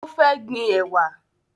O fẹ́ gbin ẹwà